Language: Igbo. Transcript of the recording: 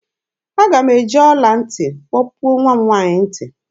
Aga m eji ọla ntị kpọpuo nwa m nwaanyị ntị